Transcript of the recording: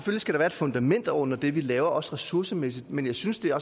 skal være et fundament under det vi laver også ressourcemæssigt men jeg synes det er